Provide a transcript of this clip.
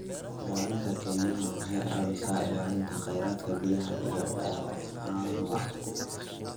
Ilaalinta kaymaha waxay caawisaa ilaalinta khayraadka biyaha iyo bioanuwa.